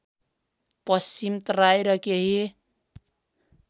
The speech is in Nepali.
पश्चिम तराई र केही